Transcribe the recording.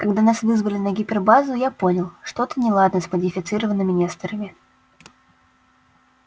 когда нас вызвали на гипербазу я понял что-то неладно с модифицированными несторами